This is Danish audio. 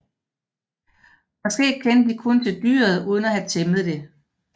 Måske kendte de kun til dyret uden at have tæmmet det